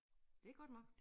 Det godt nok